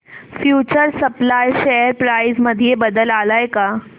future supply share price मध्ये बदल आलाय का